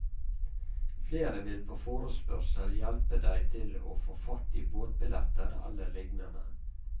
Flere vil på forespørsel hjelpe deg til å få fatt i båtbilletter eller lignende.